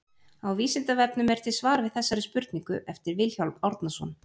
Á Vísindavefnum er til svar við þessari spurningu eftir Vilhjálm Árnason.